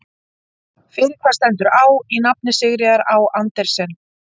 Fyrir hvað stendur Á í nafni Sigríðar Á Andersen?